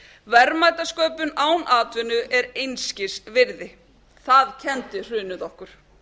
verðmætasköpun án atvinnu er einskis virði það kenndi hrunið okkur